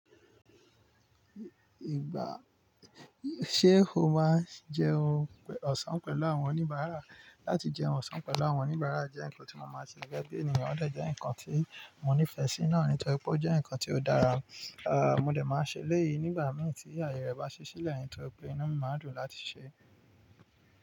Ìgbà, ṣe o máa ń jẹ oúnjẹ ọ̀sán pẹ̀lú àwọn oníbàárà? Láti jẹ́un ọ̀sán pẹ̀lú àwọn oníbàárà jẹ́ nǹkan tí mo máa ń ṣe gẹ́gẹ́ bí ènìyàn, o dẹ jẹ́ nǹkan tí mo nífẹ̀ẹ́ sí náà nítorí pé ó jẹ́ nǹkan tí ó dára. À, mo dẹ̀ máa ṣe eléyìí nígbà mìí tí aye rẹ bá ṣí sílẹ̀ nítorí pé inú mi máa dùn láti ṣe é.